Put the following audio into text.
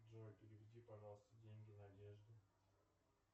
джой переведи пожалуйста деньги надежде